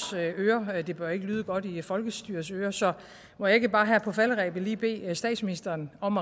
ører og det bør ikke lyde godt i folkestyrets ører så må jeg ikke bare her på falderebet lige bede statsministeren om